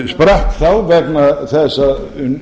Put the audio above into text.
sprakk þá vegna þess að